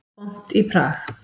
Vont í Prag